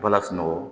Bala sunɔgɔ